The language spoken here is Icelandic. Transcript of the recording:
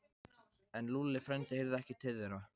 En Lúlli frændi heyrði ekki til þeirra.